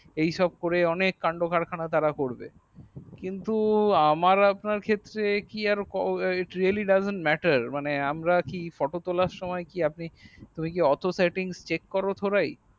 এই সব করে সব কান্ড কারখানা তারা করবে কিন্তু আমার আপনার ক্ষেত্রে its relly doen matter মানে আমরা কি photo তোলার সময় কি আপনি তুমি কি অত setting chek করবো থোড়াই